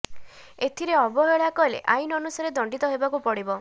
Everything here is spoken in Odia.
ଏଥିରେ ଅବହେଳା କଲେ ଆଇନ୍ ଅନୁସାରେ ଦଣ୍ଡିତ ହେବାକୁ ପଡ଼ିବ